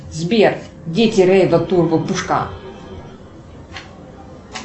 сбер дети рейва турбо пушка